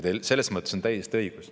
Selles mõttes on teil täiesti õigus.